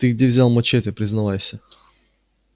ты где взял мачете признавайся